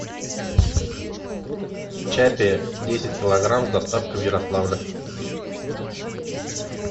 чаппи десять килограмм с доставкой в ярославль